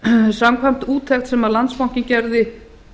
samkvæmt úttekt sem landsbankinn gerði